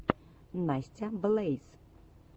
настя блэйз